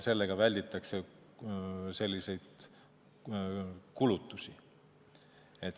Sellega välditakse selliseid kulutusi.